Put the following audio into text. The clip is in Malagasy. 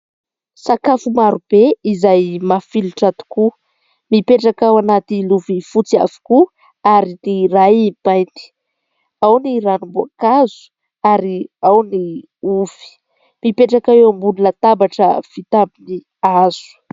Sakafo maro be izay mafilotra tokoa. Mipetraka ao anaty lovia fotsy avokoa ary ny iray mainty. Ao ny ranomboakazo ary ao ny ovy. Mipetraka eo ambony latabatra vita amin'ny hazo.